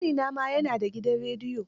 Ƙanina ma ya da gidan rediyo.